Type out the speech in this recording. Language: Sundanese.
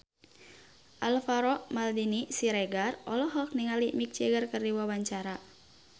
Alvaro Maldini Siregar olohok ningali Mick Jagger keur diwawancara